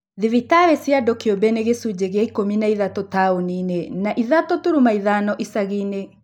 thibitarĩ cia andũ kĩũmbe nĩ gĩcunjĩ kĩa ikũmi na ithatũ taũni-inĩ na ithatũ turuma ithano icagi-inĩ